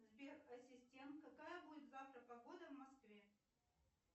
сбер ассистент какая будет завтра погода в москве